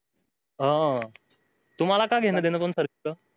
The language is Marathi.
अ तुम्हाला का घेण देन होत पण sir तिथ